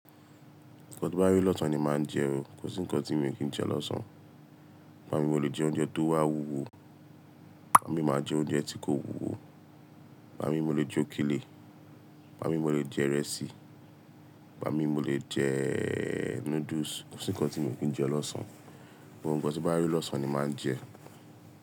Nǹkan ti n bá ri lọ̀sán ni màá n jẹ o. Kò sí nǹkan tí mii kí ń jẹ lọ́sán. Igbámi mo lè jẹ oúnjẹ tó wá wúwo, igbámi màá jẹ oúnjẹ tí kò wúwo, igbámi mo lè jẹ òkèlè, igbámi mo lè jẹ ìrẹsì, igbámi mo lè jẹe noodles. Kò sí nǹkan tí mi ò kí ń jẹ lọ́sán. Gbogbo nǹkan tí n bá rei lọ̀sán ni màá n jẹ.